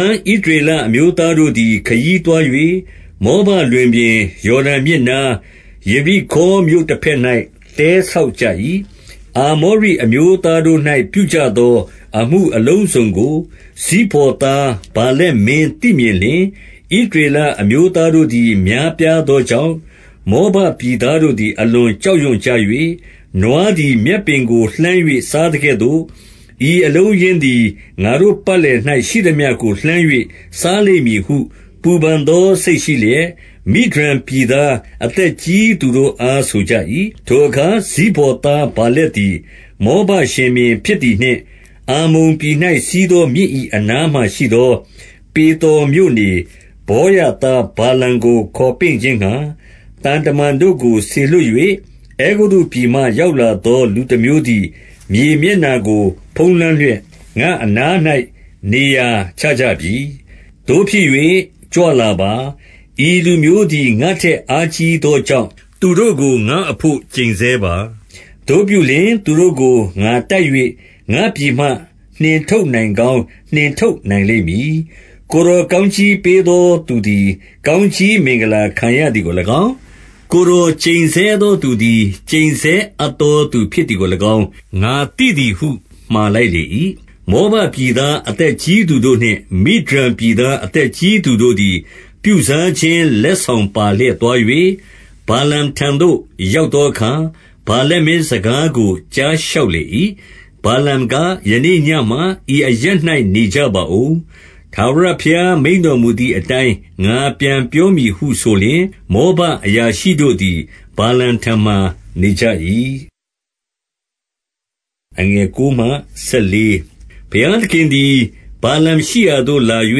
န် ဣသရေလအမျိုးသားတို့သည် ခရီး သွား၍ မောဘလွင်ပြင်၊ ယော်ဒန်မြစ်နား၊ ယေရိခေါမြို့ တဘက်၌ တဲဆောက်ကြ၏။ 2 အာမောရိအမျိုးသားတို့၌ပြုကြသော အမှုအလုံး စုံကို၊ ဇိဖေါ်သားဗာလက်မင်းသိမြင်လျှင်၊ 3 ဣသရေလအမျိုးသားတို့သည် များပြားသော ကြောင့်၊ မောဘပြည်သားတို့သည် အလွန်ကြောက်ရွံ့ ကြ၍၊ 4 နွားသည် မြက်ပင်ကို လှမ်း၍ စားသကဲ့သို့ ဤအလုံးအရင်းသည် ငါတို့ပတ်လည်၌ ရှိသမျှကို လှမ်း၍ စားလိမ့်မည်ဟု ပူပန်သောစိတ်ရှိလျက်၊ မိဒျန်ပြည်သား အသက်ကြီးသူတို့အား ဆိုကြ၏။ ထိုအခါ ဇိဖေါ်သား ဗာလက်သည်၊ မောဘရှင်ဘုရင်ဖြစ်သည်နှင့်၊ 5 အမ္မုန်ပြည်၌ စီးသောမြစ်၏အနားမှာရှိသော ပေသော်မြို့နေ ဗောရသားဗာလမ်ကို ခေါ်ပင့်ခြင်းငှါ၊ သံတမန်တို့ကို စေလွှတ်၍၊ အဲဂုတ္တုပြည်မှ ရောက်လာ သော လူတမျိုးသည် မြေမျက်နှာကို ဖုံးလွှမ်းလျက် ငါ့အနား ၌ နေရာချကြပြီ။ 6 သို့ဖြစ်၍၊ ကြွလာပါ။ ဤလူမျိုးသည် ငါ့ထက် အားကြီးသောကြောင့် သူတို့ကို ငါ့အဘို့ ကျိန်ဆဲပါ။ သို့ ပြုလျှင် သူတို့ကို ငါတိုက်၍ ငါ့ပြည်မှ နှင်ထုတ်နိုင်ကောင်း နှင်ထုတ်နိုင်လိမ့်မည်။ ကိုယ်တော် ကောင်းကြီးပေးသော သူသည် ကောင်းကြီးမင်္ဂလာခံရသည်ကို၎င်း၊ ကိုယ်တော် ကျိန်ဆဲသောသူသည် ကျိန်ဆဲအပ်သောသူဖြစ်သည်ကို၎င်း ငါသိသည်ဟု မှာလိုက်လေ၏။ 7 မောဘပြည်သား အသက်ကြီးသူတို့နှင့် မိဒျန် ပြည်သား အသက်ကြီးသူတို့သည် ပြုစားခြင်းလက်ဆောင် ပါလျက်သွား၍၊ ဗာလမ်ထံသို့ ရောက်သောအခါ၊ ဗာလက် မင်းစကားကို ကြားလျှောက်လေ၏။ 8 ဗာလမ်က၊ ယနေ့ညမှာ ဤအရပ်၌နေကြပါဦး။ ထာဝရဘုရားမိန့်တော်မူသည်အတိုင်း ငါပြန်ပြောမည်ဟု ဆိုလျှင်၊ မောဘအရာရှိတို့သည် ဗာလမ်ထံမှာ နေကြ၏။ 9 ဘုရားသခင်သည် ဗာလမ်ရှိရာသို့ လာ၍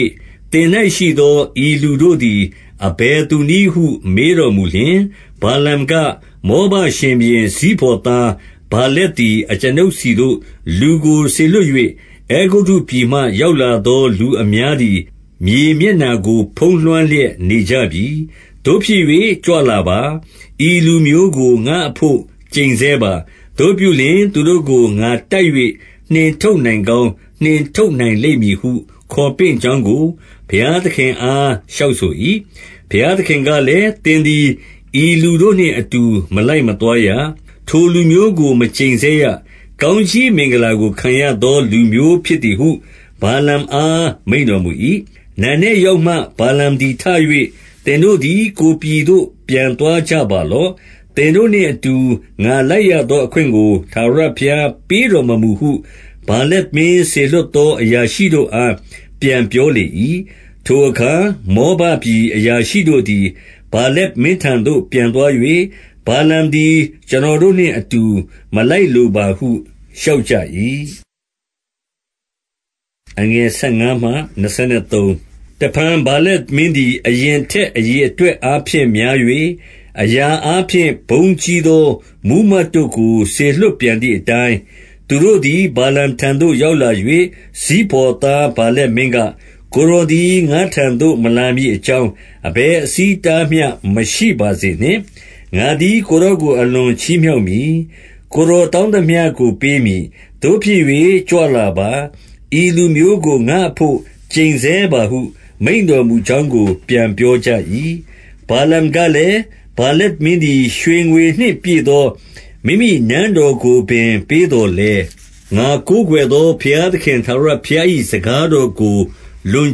၊ သင်၌ ရှိသော ဤလူတို့သည် အဘယ်သူနည်းဟု မေးတော်မူ လျှင်၊ 10 ဗာလမ်က၊ မောဘရှင်ဘုရင် ဇိဖေါ်သား ဗာလက်သည် အကျွန်ုပ်ဆီသို့ လူကို စေလွှတ်၍၊ 11 အဲဂုတ္တုပြည်မှ ရောက်လာသော လူအများ သည်၊ မြေမျက်နျာကို ဖုံးလွှမ်းလျက်နေကြပြီ။ သို့ဖြစ်၍ ကြွလာပါ။ ဤလူမျိုးကို ငါ့အဘို့ ကျိန်ဆဲပါ။ သို့ပြုလျှင်၊ သူတို့ကို ငါတိုက်၍ နှင်ထုတ်နိုင်ကောင်းနှင်ထုတ်နိုင်လိမ့် မည်ဟု ခေါ်ပင့်ကြောင်းကို၊ ဘုရားသခင်အား လျှောက် ဆို၏။ 12 ဘုရားသခင်ကလည်း၊ သင်သည် ဤလူတို့နှင့် အတူ မလိုက်မသွားရ။ ထိုလူမျိုးကို မကျိန်ဆဲရ။ ကောင်း ကြီးမင်္ဂလာကို ခံရသော လူမျိုးဖြစ်သည်ဟု ဗာလမ်အား မိန့်တော်မူ၏။ 13 နံနက်ရောက်မှ၊ ဗာလမ်သည် ထ၍ သင်တို့သည် ကိုယ်ပြည်သို့ ပြန်သွားကြပါလော့။ သင်တို့နှင့်အတူ ငါလိုက်ရသောအခွင့်ကို ထာဝရဘုရားပေးတော်မမူဟု ဗာလက်မင်းစေလွှတ်သော အရာရှိတို့အား ပြန်ပြော လေ၏။ 14 ထိုအခါ မောဘပြည်အရာရှိတို့သည် ဗာလက် မင်းထံသို့ ပြန်သွား၍၊ ဗာလမ်သည် ကျွန်တော်တို့နှင့် အတူ မလိုက်လိုပါဟု လျှောက်ကြ၏။ 15 တဖန် ဗာလက်မင်းသည်၊ အရင်ထက်အရေ အတွက်အားဖြင့် များ၍ အရာအားဖြင့် ဘုန်းကြီးသော မှူးမတ်တို့ကို စေလွှတ်ပြန်သည်အတိုင်း၊ 16 သူတို့သည် ဗာလမ်ထံသို့ ရောက်လာ၍ ဇိဖေါ် သားဗာလက်မင်းက၊ ကိုယ်တော်သည် ငါ့ထံသို့ မလာမည် အကြောင်း အဘယ်အဆီးအတားမျှ မရှိပါစေနှင့်။ 17 ငါသည် ကိုယ်တော်ကို အလွန်ချီးမြှောက်မည်။ ကိုယ်တော်တောင်းသမျှကို ပေးမည်။ သို့ဖြစ်၍ ကြွလာပါ။ ဤလူမျိုးကို ငါ့အဘို့ ကျိန်ဆဲပါဟု မိန့်တော်မူကြောင်းကို ပြန်ပြောကြ၏။ 18 ဗာလမ်ကလည်း၊ ဗာလက်မင်းသည် ရွှေငွေနှင့် ပြည့်သော မိမိနန်းတော်ကိုပင် ပေးသော်လည်း၊ ငါကိုး ကွယ်သော ဘုရားသခင်ထာဝရဘုရား၏ စကားတော်ကို လွန်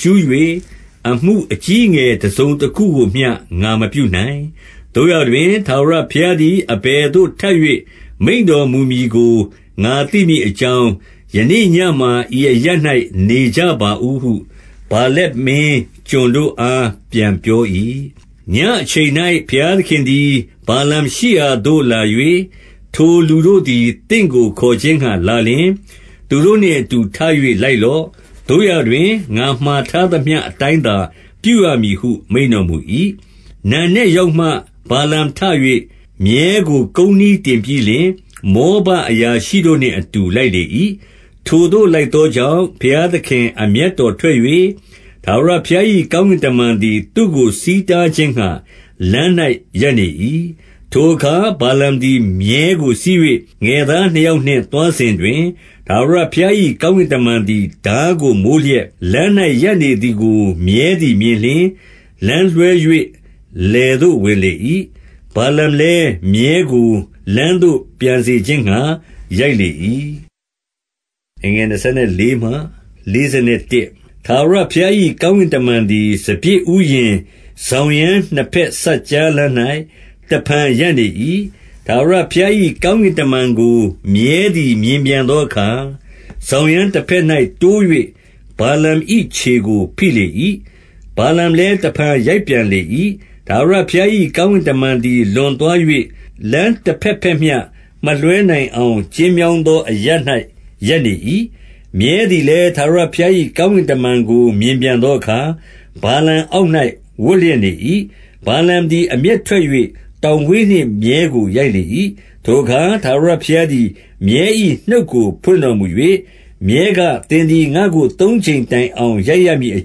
ကျူး၍ အမှုအကြီးအငယ် တစုံတခုကိုမျှ ငါမပြုနိုင်။ 19 သို့ရာတွင် ထာဝရဘုရားသည် အဘယ်သို့ ထပ်၍ မိန့်တော်မူမည်ကို ငါသိမည်အကြောင်း၊ ယနေ့ည မှာ ဤအရပ်၌ နေကြပါဦးဟု ဗာလက်မင်းကျွန်တို့အား ပြန်ပြော၏။ 20 ညအချိန်၌ ဘုရားသခင်သည် ဗာလမ်ရှိရာသို့ လာ၍၊ ထိုလူတို့သည် သင့်ကိုခေါ်ခြင်းငှါလာလျှင်၊ သူတို့ နှင့်အတူ ထ၍ လိုက်လော့။ သို့ရာတွင် ငါမှာထားသမျှ အတိုင်းသာ ပြုရမည်ဟု မိန့်တော်မူ၏။ 21 နံနက်ရောက်မှ ဗာလမ်ထ၍ မြည်းကို ကုန်းနှီး ထင်ပြီးလျှင်၊ မောဘအရာရှိတို့နှင့်အတူ လိုက်လေ၏။ 22 ထိုသို့ လိုက်သောကြောင့်၊ ဘုရားသခင် အမျက် တော်ထွက်၍၊ ထာဝရဘုရား၏ ကောင်းကင်တမန်သည် သူ့ကို ဆီးတားခြင်းငှါ လမ်း၌ ရပ်နေ၏။ ထိုအခါ ဗာလမ် သည် မြည်းကို စီး၍ ငယ်သားနှစ်ယောက်နှင့် သွားစဉ် တွင်၊ 23 ထာဝရဘုရား၏ ကောင်းကင်တမန်သည် ထားကို မိုးလျက်၊ လမ်း၌ ရပ်နေသည်ကို မြည်းသည် မြင်လျှင်၊ လမ်းလွှဲ၍ လယ်သို့ ဝင်လေ၏။ ဗာလမ်လည်း မြည်းကို လမ်းသို့ ပြန်စေခြင်းငှါ ရိုက်လေ၏။ 24 ထာဝရဘုရား၏ ကောင်းကင်တမန်သည်၊ စပျစ်ဥယျာဉ်စောင်ရန်းနှစ်ဘက်စပ်ကြားလမ်း၌ တဖန် ရပ်နေ၏။ 25 ထာဝရဘုရား၏ ကောင်းကင်တမန်ကို မြည်း သည် မြင်ပြန်သောအခါ၊ စောင်ရန်းတဘက်၌ တိုး၍ ဗာလမ်၏ခြေကို ဖိလေ၏။ ဗာလမ်လည်း တဖန် ရိုက်ပြန်လေ၏။ 26 ထာဝရဘုရား၏ ကောင်းကင်တမန်သည် လွန် သွား၍ လမ်းတဘက်ဘက်မျှ မလွှဲနိုင်အောင် ကျဉ်း မြောင်းသော အရပ်၌ ရပ်နေ၏။ 27 မြည်းသည်လည်း ထာဝရဘုရား၏ကောင်းကင် တမန်ကို မြင်ပြန်သောအခါ၊ ဗာလမ်အောက်၌ ဝပ်လျက် နေ၏။ ဗာလမ်သည် အမျက်ထွက်၍ တောင်ဝေးနှင့် မြည်းကိုရိုက်လေ၏။ 28 ထိုအခါ ထာဝရဘုရားသည် မြည်း၏နှုတ်ကို ဖွင့်တော်မူ၍၊ မြည်းက သင်သည် ငါ့ကို သုံးကြိမ်တိုင် အောင် ရိုက်ရမည်အ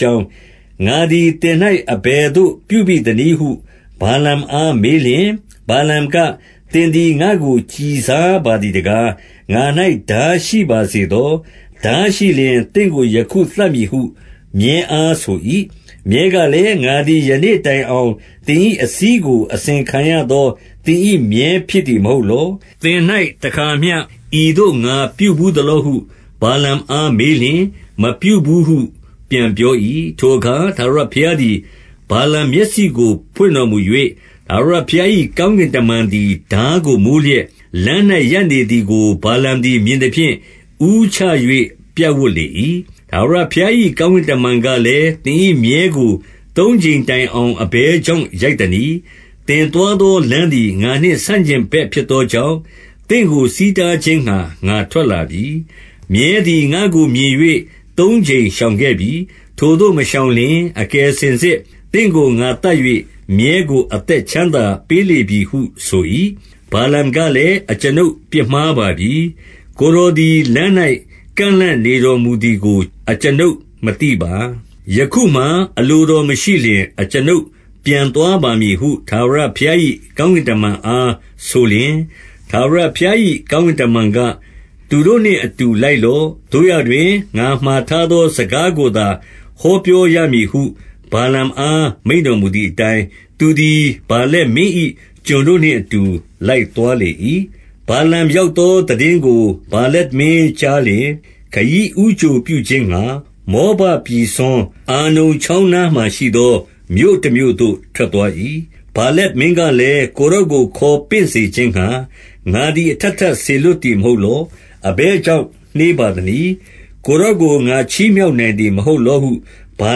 ကြောင်း၊ ငါသည် သင်၌ အဘယ်သို့ ပြုဘိသနည်းဟု ဗာလမ်အားမေးလျှင်၊ 29 ဗာလမ်က၊ သင်သည် ငါ့ကို ကျီစားပါသည် တကား။ ငါ၌ ထားရှိပါစေသော။ ထားရှိလျှင် သင့်ကို ယခုသတ်မည်ဟု မြည်းအားဆို၏။ 30 မြည်းကလည်း၊ ငါသည် ယနေ့တိုင်အောင် သင် ၏အစီးကို အစဉ်ခံရသော သင်၏ မြည်းဖြစ်သည်မဟုတ် လော။ သင်၌တခါမျှ ဤသို့ ငါပြုဘူးသလောဟု ဗာလမ် အား မေးလျှင်၊ မပြုဘူးဟု ပြန်ပြော၏။ 31 ထိုအခါ ထာဝရဘုရားသည် ဗာလမ်မျက်စိကို ဖွင့်တော်မူ၍၊ ထာဝရဘုရား၏ ကောင်းကင်တမန်သည် ထားကိုမိုးလျက်၊ လမ်း၌ ရပ်နေသည်ကို ဗာလမ်သည် မြင်သဖြင့် ဦးချ၍ ပြပ်ဝပ်လေ၏။ 32 ထာဝရဘုရား၏ကောင်းကင်တမန်ကလည်း၊ သင်၏မြည်းကို သုံးကြိမ်တိုင်အောင် အဘယ်ကြောင့် ရိုက်သနည်း။ သင်သွားသောလမ်းသည် ငါနှင့် ဆန့်ကျင် ဘက်ဖြစ်သောကြောင့်၊ သင့်ကို ဆီးတားခြင်းငှါ ငါထွက် လာပြီ။ 33 မြည်းသည် ငါ့ကို မြင်၍ သုံးကြိမ်ရှောင်ခဲ့ပြီ။ ထိုသို့မရှောင်လျှင်၊ အကယ်စင်စစ် သင့်ကိုငါသတ်၍ မြည်းကို အသက်ချမ်းသာပေးလေပြီဟု ဆို၏။ 34 ဗာလမ်ကလည်း၊ အကျွန်ုပ်ပြစ်မှားပါပြီ။ ကိုယ် တော်သည် လမ်း၌ ကန့်လန့်နေတော်မူသည်ကို အကျွန်ုပ် မသိပါ။ ယခုမှာ အလိုတော်မရှိလျှင် အကျွန်ုပ်ပြန်သွားပါ မည်ဟု ထာဝရဘုရား၏ ကောင်းကင်တမန်အား ဆိုလျှင်၊ 35 ထာဝရဘုရား၏ကောင်းကင်တမန်က၊ သူတို့နှင့် အတူ လိုက်လော့။ သို့ရာတွင် ငါမှာထားသော စကားကို သာ ဟောပြောရမည်ဟု ဗာလမ်အား မိန့်တော် မူသည်အတိုင်း၊ သူသည် ဗာလက်မင်း၏ ကျွန်တို့နှင့်အတူ လိုက်သွားလေ၏။ 36 ဗာလမ်ရောက်သောသိတင်းကို ဗာလက်မင်း ကြားလျှင်၊ ခရီးဦးကြိုပြုခြင်းငှါ၊ မောဘပြည်စွန် အာနုန် ချောင်းနားမှာရှိသော မြို့တမြို့သို့ ထွက်သွား၏။ 37 ဗာလက်မင်းကလည်း၊ ကိုယ်တော်ကို ခေါ်ပင့် စေခြင်းငှါ ငါသည် အထပ်ထပ် စေလွှတ်သည်မဟုတ် လော။ အဘယ်ကြောင့် နှေးပါသနည်း။ ကိုယ်တော်ကို ငါချီးမြှောက်နိုင်သည်မဟုတ်လောဟု ဗာ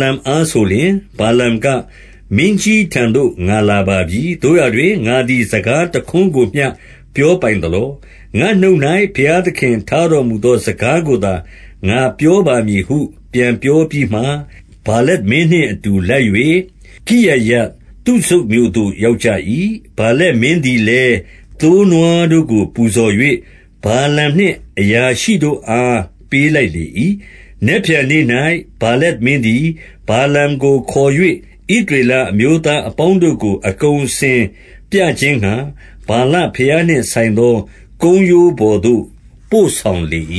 လမ်အား ဆိုလျှင်၊ 38 ဗာလမ်က၊ မင်းကြီးထံသို့ ငါလာပါပြီ။ သို့ရာတွင် ငါသည် စကားတခွန်းကိုမျှ ပြောပိုင်သလော။ ငါ့နှုတ်၌ ဘုရားသခင်ထားတော်မူသော စကားကိုသာ ငါပြောပါ မည်ဟု ပြန်ပြောပြီးမှ၊ 39 ဗာလက်မင်းနှင့်အတူ လိုက်၍ ကိရယဿုဇုတ် မြို့သို့ ရောက်ကြ၏။ 40 ဗာလက်မင်းသည်လည်း၊ သိုးနွားတို့ကို ပူဇော်၍ ဗာလမ်နှင့်အရာရှိတို့အား ပေးလိုက်လေ၏။ 41 နက်ဖြန်နေ့၌ ဗာလက်မင်းသည် ဗာလမ်ကို ခေါ်၍ ဣသရေလအမျိုးသားအပေါင်းတို့ကို အကုန် အစင်ပြခြင်းငှါ ဗာလဘုရားနှင့်ဆိုင်သော ကုန်းရိုးပေါ်သို့ ပို့ဆောင်လေ၏။